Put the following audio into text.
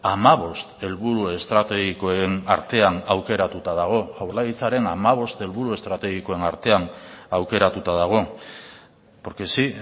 hamabost helburu estrategikoen artean aukeratuta dago jaurlaritzaren hamabost helburu estrategikoen artean aukeratuta dago porque sí